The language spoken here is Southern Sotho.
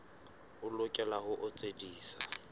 o lokela ho o tsebisa